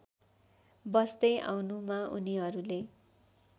बस्दै आउनुमा उनिहरूले